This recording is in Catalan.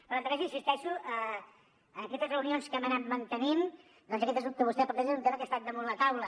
però en tot cas hi insisteixo en aquestes reunions que hem anat mantenint doncs aquest que vostè planteja és un tema que ha estat damunt la taula